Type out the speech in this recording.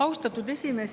Austatud esimees!